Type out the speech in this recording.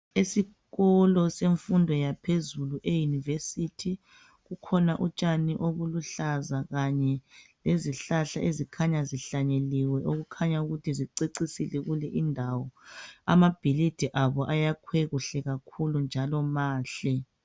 Isikolo semfundo yaphezulu eyunivesithi. Kukhona utshani obuluhlaza kanye lezihlahla ezikhanya zihlanyeliwe okukhanya ukuthi zicecisile kule indawo. Amabhilidi abo ayakhwe kuhle kakhulu njalo mahle.